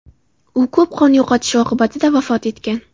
U ko‘p qon yo‘qotishi oqibatida vafot etgan.